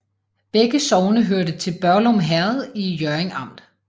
Begge sogne hørte til Børglum Herred i Hjørring Amt